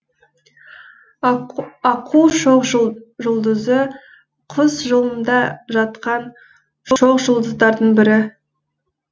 аққу шоқжұлдызы құс жолында жатқан шоқжұлдыздардың бірі